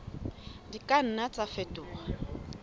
di ka nna tsa fetoha